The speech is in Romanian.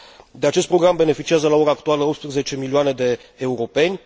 De acest program beneficiază la ora actuală 18 milioane de europeni.